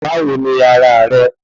Báwo ni ara rẹ